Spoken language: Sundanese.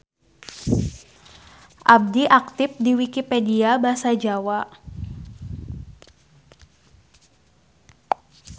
Abdi aktip di Wikipedia Basa Jawa.